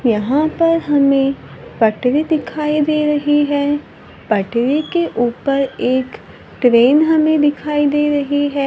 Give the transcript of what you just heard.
यहां पर हमें पटरी दिखाई दे रही है पटरी के ऊपर एक ट्रेन हमें दिखाई दे रही है।